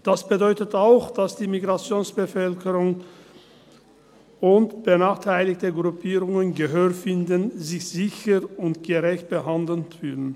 Das bedeutet auch, dass die Migrationsbevölkerung und benachteiligte Gruppierungen Gehör finden, sich sicher und gerecht behandelt fühlen.